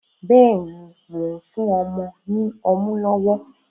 Béèni, Mó n fún ọmọ ní ọmu lowo